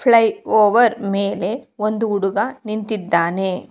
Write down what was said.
Fly over ಮೇಲೆ ಒಂದು ಹುಡುಗ ನಿಂತಿದ್ದಾನೆ.